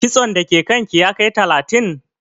Kitson da ke kan ki ya kai talatin?